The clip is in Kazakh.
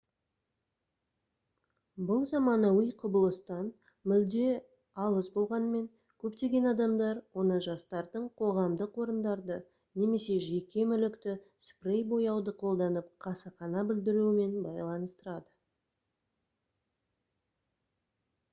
бұл заманауи құбылыстан мүлде алыс болғанымен көптеген адамдар оны жастардың қоғамдық орындарды немесе жеке мүлікті спрей бояуды қолданып қасақана бүлдіруімен байланыстырады